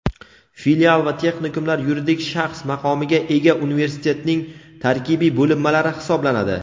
Filial va texnikumlar yuridik shaxs maqomiga ega Universitetning tarkibiy bo‘linmalari hisoblanadi.